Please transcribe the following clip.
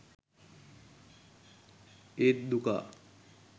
ඒත් දුකා